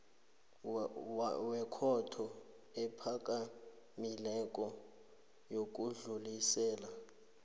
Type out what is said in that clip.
wekhotho ephakamileko yokudlulisela